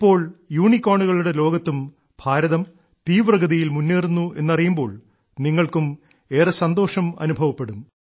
ഇപ്പോൾ യൂണിക്കോണുകളുടെ ലോകത്തും ഭാരതം തീവ്രഗതിയിൽ മുന്നേറുന്നു എന്നറിയുമ്പോൾ നിങ്ങൾക്കും ഏറെ സന്തോഷം അനുഭവപ്പെടും